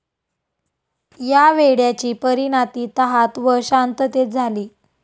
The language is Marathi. या वेड्याची परीनाती तहात व शांततेत झाली.